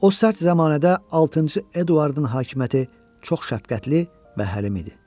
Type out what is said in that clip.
O sərt zəmanədə altıncı Eduardın hakimiyyəti çox şəfqətli və həlim idi.